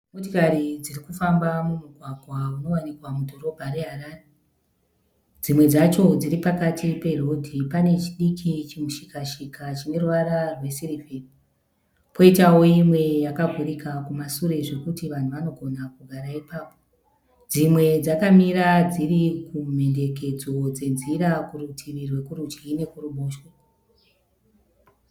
Motikari dziri kufamba mumugwagwa unowanikwa mudhorobha reHarare. Dzimwe dzacho dziri pakati perodhi, pane chidiki chimushika -shika chine ruvara rwesivheri, poitawo imwe yakavhurika kumasure zvokuti vanhu vanogara kugara ipapo. Dzimwe dzakamira dziri kumhenderekedzo dzenzira kurudyi nekuruboshwe.